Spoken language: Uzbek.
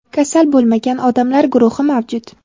kasal bo‘lmagan odamlar guruhi mavjud.